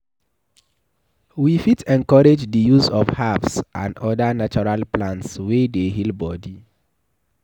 We fit encourage di use of herbs and oda natural plants wey dey heal body